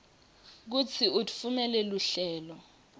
kutsi utfumela luhlelo